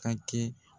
Ka kɛ